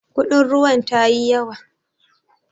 Kudin ruwan tayi yawa.